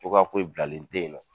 Cogoya foye bilalen te ye nɔ